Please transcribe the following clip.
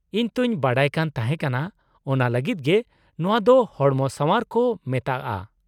-ᱤᱧ ᱛᱚᱧ ᱵᱟᱰᱟᱭ ᱠᱟᱱ ᱛᱟᱦᱮᱸ ᱠᱟᱱᱟ ᱚᱱᱟ ᱞᱟᱹᱜᱤᱫ ᱜᱮ ᱱᱚᱶᱟ ᱫᱚ ᱦᱚᱲᱢᱚᱥᱟᱶᱟᱨ ᱠᱚ ᱢᱮᱛᱟᱜᱼᱟ ᱾